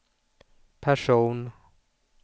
person